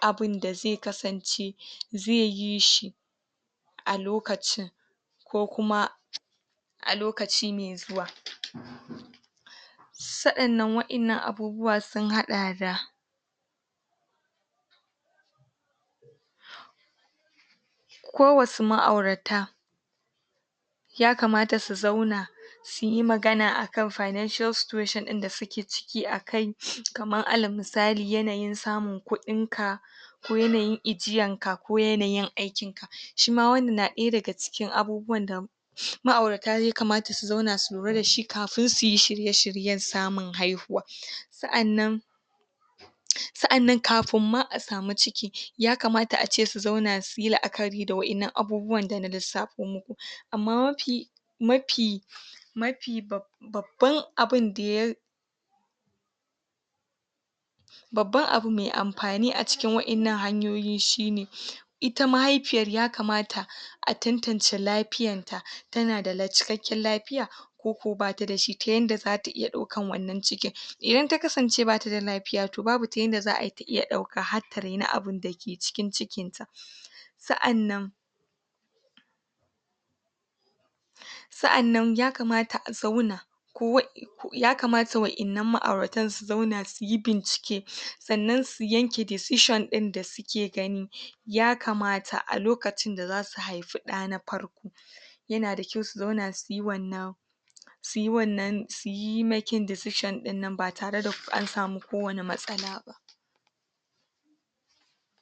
abinda zai kasance zai yi shi a lokacin ko kuma a lokacin mai zuwa sa annan waɗannan abubuwan sun haɗa da ko wasu ma'aurata yakamata su zauna su yi magana a kan financial situation ɗin da su ke ciki a kai kamar alal misali yanayin samun kuɗinka yanayin ajiyanka ko yanayin aikinka shima wannan na ɗaya daga cikin abubuwan shi ma'aurata yakamata su zauna su lura da shi kafin su yi shirye shiryen samun haihuwa sa'annan sa'annan kafin ma a samu ciki yakamata a ce su zauna su yi la'akari da waɗannan abubuwan da na lissafo amma mafi mafi ma fi babban abinda ya babban abu mai amfani a cikin waɗannan hanyoyi shine ita mahaifiyar yakamata a tantance lafiyanta tana da cikakken lafiya ko ko ba ta dashi ta yadda za ta iya ɗaukan wannan cikin idan ta kasance ba ta da lafiya to babu ta yadda za ai ta iya ɗauka har ta raini abinda ke cikin ciki sa'annan sa'annan yakamata a zauna ko? yakamata waɗannan ma'auratan su zauna su yi bincike sannan su yanke decision ɗin ke gani yakamata a lokacin da za su haifi ɗa na farko yana da kyau su zauna suyi wannan su yi wannan su yi making decision ɗin nan ba tare da an samu kowanne matsala ba